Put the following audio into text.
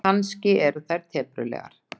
Kannski eru þær teprulegar.